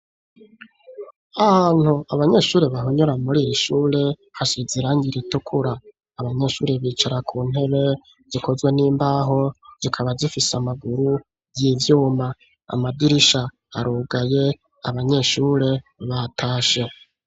Ahantu abanyeshuri bahunyura muri iri shure hasuzirangire itukura abanyeshuri bicara ku ntebe zikozwe n'imbaho zikaba zifise amaguru y'ivyuma amadirisha arugaye abanyeshure batashe.